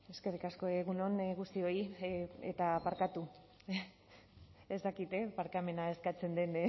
eskerrik asko egun on guztioi eta barkatu ez dakit barkamena eskatzen den